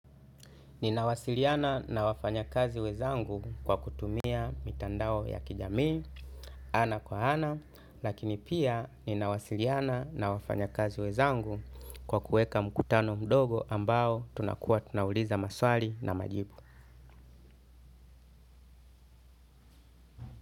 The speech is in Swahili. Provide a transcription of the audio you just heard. Ninawasiliana na wafanyakazi wenzangu kwa kutumia mitandao ya kijamii, ana kwa ana, lakini pia ninawasiliana na wafanyakazi wenzangu kwa kuweka mkutano mdogo ambao tunakuwa tunauliza maswali na majibu.